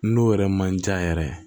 N'o yɛrɛ man ca yɛrɛ